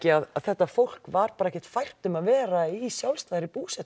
að þetta fólk var ekki fært um að vera í sjálfstæðri búsetu